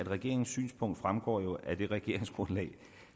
regeringens synspunkt fremgår jo af det regeringsgrundlag